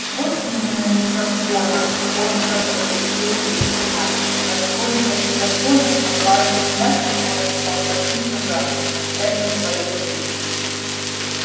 вот именно незаконна коротко подтвердил великий мастер настолько незаконна что ваш приятель может поплатиться за это своей жизнью